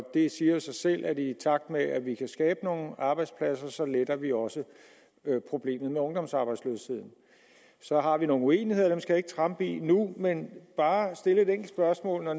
det siger jo selv at i takt med at vi kan skabe nogle arbejdspladser letter vi også problemet med ungdomsarbejdsløsheden så har vi nogle uenigheder dem skal jeg ikke trampe i nu men bare stille et enkelt spørgsmål når